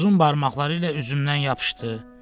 Birisi uzun barmaqları ilə üzümdən yapışdı.